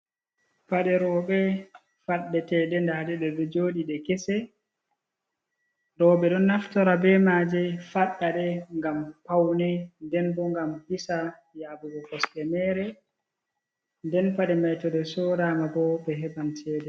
Paɗe roɓe faɗɗe teɗe ndaɗi ɗeɗo joɗi ɗe kese, roɓe ɗon naftora be maje faɗɗaɗe ngam paune, ndenbo ngam hisa yaɓugo kosɗe mere. nden paɗe maitoɗe so rama bo ɓe heɓan cede.